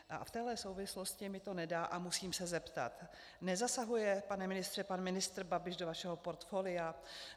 A v téhle souvislosti mi to nedá a musím se zeptat: Nezasahuje, pane ministře, pan ministr Babiš do vašeho portfolia?